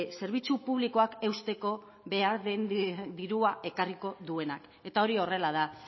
zerbitzu publikoak eusteko behar den dirua ekarriko duena eta hori horrela da